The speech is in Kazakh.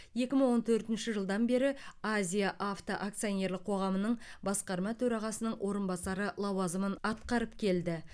екі мың он төртінші жылдан бері азия авто акционерлік қоғамының басқарма төрағасының орынбасары лауазымын атқарып келді